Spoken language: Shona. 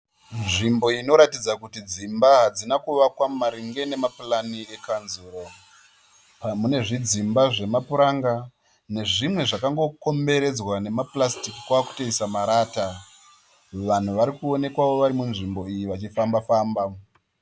Nzvimbo inoratidza kuti dzimba hadzina kuvakwa maringe nemapurani ekanzuru. Mune zvidzimba zvemapuranga nezvimwe zvakangokomberedzwa nemapurasitiki kwakutoisa marata. Vanhu vari kuwonekwawo vari munzvimbo iyi vachifamba famba.